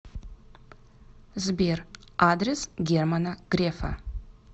сбер адрес германа грефа